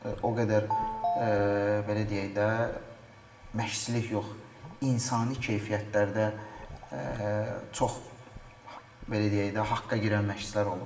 O qədər belə deyək də, məşqçilik yox, insani keyfiyyətlərdə çox belə deyək də, haqqa girən məşqçilər olub.